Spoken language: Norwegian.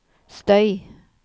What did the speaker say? støy